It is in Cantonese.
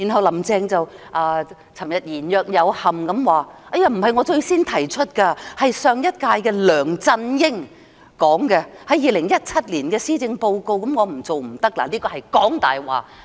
"林鄭"昨天言若有憾地說，這不是她最先提出，而是上屆特首梁振英在2017年施政報告提出的，她不得不做，她這樣是講大話。